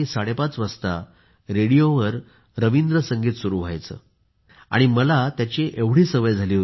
30 वाजता रेडिओवर रबींद्र संगीत सुरू व्हायचे आणि मला त्याची सवय झाली होती